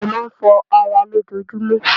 A máa ń fọ ara lójojúmọ́.